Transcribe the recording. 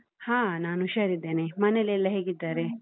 ಹಾ ನಾನ್ ಹುಷಾರಿದ್ದೇನೆ, ಮನೆಲ್ಲೆಲ್ಲಾ ಹೇಗಿದ್ದಾರೆ?